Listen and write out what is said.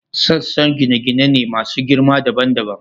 Sassa gine-gine ne masu girma dabam dabam.